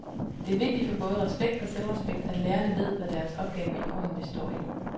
Det er vigtigt for både respekt og selvrespekt, at lærerne ved, hvad deres opgave i grunden består i.